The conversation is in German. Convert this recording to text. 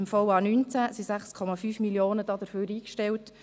Im Voranschlag 2019 (VA 19) sind dafür 6,5 Mio. Franken eingestellt.